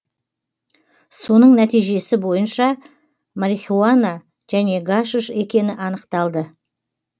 соның нәтижесі бойынша марихуана және гашиш екені анықталды